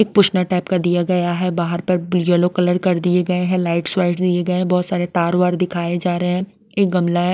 ई पूछना टाइप का दिया गया है बाहर पर येलो कलर कर दिए गए हैं लाइट्स वॉइट्स दिए गए हैं बहोत सारे तार वार दिखाए जा रहे हैं एक गमला है।